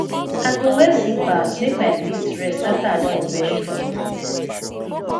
i go wear slippers make my feet rest afta i don wear shoe for office